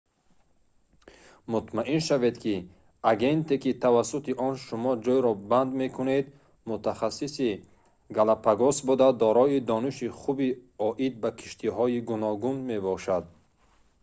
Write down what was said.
мутмаин шавед ки агенте ки тавассути он шумо ҷойро банд мекунед мутахассиси галапагос буда дорои дониши хуб оид ба киштиҳои гуногун мебошад